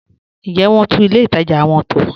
Ǹ jẹ wọn túnlẹ̀ ilẹ̀ ìtaja wọn tó?